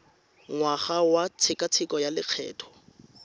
ngwaga wa tshekatsheko ya lokgetho